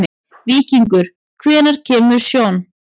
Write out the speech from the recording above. Víkingur, hvenær kemur sjöan?